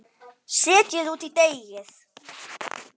Setjið út í deigið.